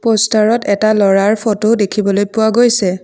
প'ষ্টা ৰত এটা ল'ৰাৰ ফটো দেখিবলৈ পোৱা গৈছে।